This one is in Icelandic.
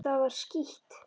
Það var skítt.